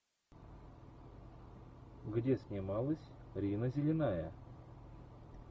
где снималась рина зеленая